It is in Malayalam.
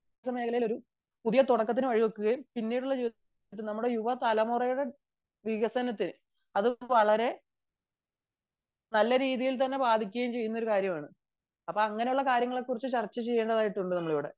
വിദ്യാഭ്യാസ മേഖലയിൽ പുതിയ തുടക്കത്തിന് വഴിവെക്കുകയും പിന്നീടുള്ള ജീവിതത്തിനുനമ്മുടെ യുവ തലമുറയുടെ വികസനത്തിന് അത് വളരെ നല്ല രീതിയിൽ തന്നെ ബാധിക്കുന്ന ഒരു കാര്യമാണ് അങ്ങനെയുള്ള കാര്യങ്ങളെ കുറിച്ച് ;ചർച്ച ചെയ്യേണ്ടതായിട്ടുണ്ട് ഇവിടെ